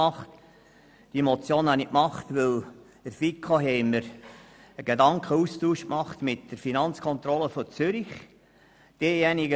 Ich habe sie einge reicht, weil wir in der FiKo einen Gedankenaustausch mit der Finanzkontrolle des Kantons Zürich durchgeführt haben.